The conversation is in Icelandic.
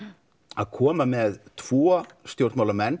að koma með tvo